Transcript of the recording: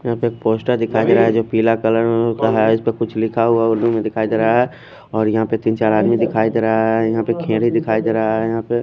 यहा पे एक पोस्टर दिखाई देरा है जो पिला कलर में पड़ा है इसमें कुछ लिखा हुआ उर्दू में दिखाई देरा है और यहा तिन चार आदमी दिखाई देरा है यह अपे खेली दिखाई देरा है यहा पे--